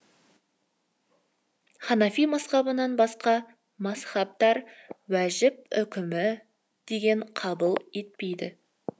ханафи мазһабынан басқа мазһабтар уәжіп үкімі деген қабыл етпейді